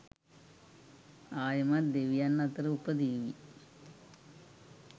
ආයෙමත් දෙවියන් අතර උපදීවි.